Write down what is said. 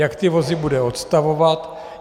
Jak ty vozy bude odstavovat?